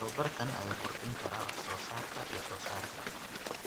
Tababarkan ayaa kordhin kara wax soo saarka iyo wax soo saarka.